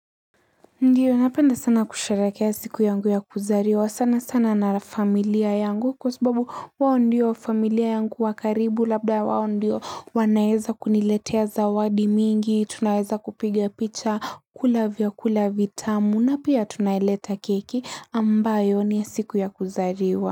Ndiyo napenda sana kusherehekea siku yangu ya kuzaliwa sana sana na familia yangu kwa sababu wao ndio familia yangu wa karibu labda wao ndio wanaeza kuniletea zawadi mingi, tunaeza kupiga picha kula vyakula vitamu na pia tunaileta keki ambayo ni siku ya kuzaliwa.